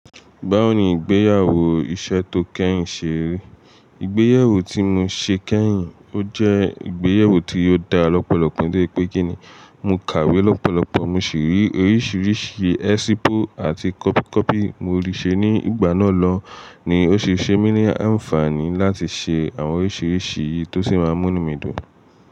Báwo ni ìgbéyàwó iṣẹ́ tó kẹ́yìn ṣe rí? Ìgbéyàwó tí mo ṣe kẹ́yìn, ó jẹ́ ìgbéyàwó tí ó da lọ́pọ̀lọpọ̀ dé pé kí ni, mo kàwé lọ́pọ̀lọpọ̀, mo sì rí oríṣiríṣi ẹ̀sípù àti kọ́pì kọ́pì mo rí ṣe ní ìgbà náà lọ ni ó ṣe ṣe mí ní àǹfààní láti ṣe àwọn oríṣiríṣi yìí tó sì máa mú mí dùn.